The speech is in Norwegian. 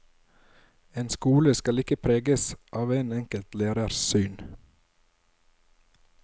En skole skal ikke preges av en enkelt lærers syn.